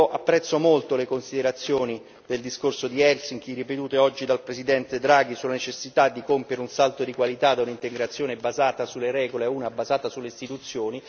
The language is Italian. Apprezzo molto le considerazioni del discorso di Helsinki, ripetute oggi dal Presidente Draghi, sulla necessità di compiere un salto di qualità da un'integrazione basata sulle regole a una basata sulle istituzioni.